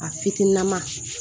A fitinin ma